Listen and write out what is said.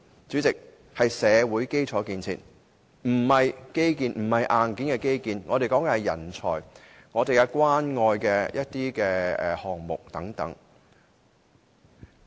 主席，社會基建並非指硬件的基建，我說的是人才、關愛基金項目等。